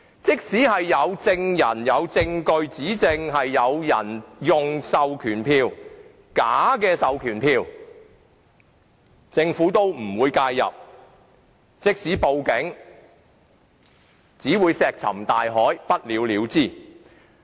即使有人證物證證明有人使用假的授權書，政府也不會介入；即使報警，也只會石沉大海，不了了之。